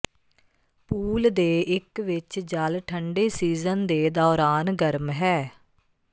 pool ਦੇ ਇੱਕ ਵਿੱਚ ਜਲ ਠੰਡੇ ਸੀਜ਼ਨ ਦੇ ਦੌਰਾਨ ਗਰਮ ਹੈ